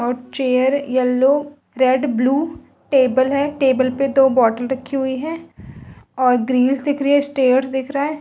और chair yellow red blue table है table पे दो बोटल रखी हुई है और ग्रिल दिख रही है स्टेअर दिख रहा है।